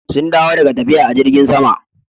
Sun dawo daga tafiya a jirgn sama.